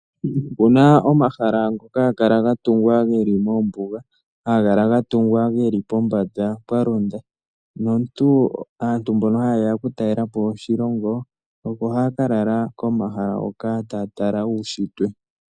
Opu na omahala ngoka haga kala ga tungwa geli moombuga, haga kala ga tungwa pombanda pwalonda, naantu mbono haye ya oku talela po oshilongo oko haya ka lala komahala hoka taya tala uunshitwe.